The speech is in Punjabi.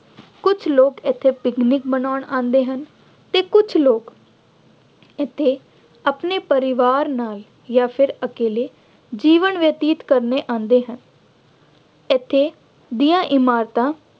ਕੁੱਝ ਲੋਕ ਇੱਥੇ ਪਿਕਨਿਕ ਮਨਾਉਣ ਆਉਂਦੇ ਹਨ ਅਤੇ ਕੁੱਝ ਲੋਕ ਇੱਥੇ ਆਪਣੇ ਪਰਿਵਾਰ ਨਾਲ ਜਾਂ ਫਿਰ ਇਕੱਲੇ ਜੀਵਨ ਬਤੀਤ ਕਰਨੇ ਆਉਂਦੇ ਹਨ। ਇੱਥੇ ਦੀਆਂ ਇਮਾਰਤਾਂ